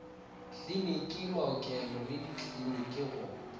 kliniki maokelo le dikliniki go